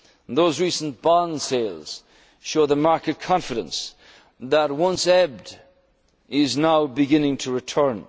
times. Those recent bond sales show the market confidence that once ebbed is now beginning